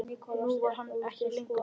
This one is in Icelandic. Nú var hann ekki lengur þar.